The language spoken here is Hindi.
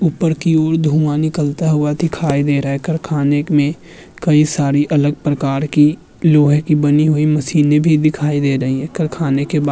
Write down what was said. ऊपर की ओर धुआं निकलता हुआ दिखाई दे रहा है। कारखाने में कई सारी अलग प्रकार की लोहे की बनी हुई मशीनें भी दिखाई दे रही हैं। कारखाने के बा --